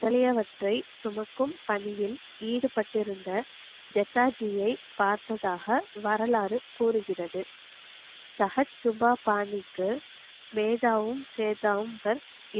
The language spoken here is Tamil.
முதலிய வற்றை சுமக்கும் பணியில் ஈடுபட்டு இருந்த ஜெத்தாஜியை பார்த்ததாக வரலாறு கூருகிறது சகத் சுபா பாணிக்கு வேதாவும் சேதாவும் பர்